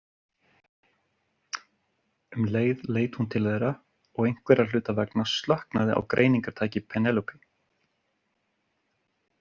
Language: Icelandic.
Um leið leit hún til þeirra og einhverra hluta vegna slöknaði á greiningartæki Penélope.